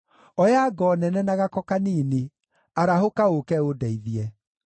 Oya ngo nene na gako kanini; arahũka ũũke ũndeithie.